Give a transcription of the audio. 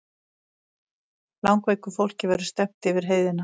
Langveiku fólki verði stefnt yfir heiðina